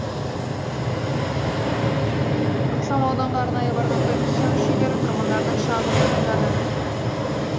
ықшамауданға арнайы барған комиссия мүшелері тұрғындардың шағымын тыңдады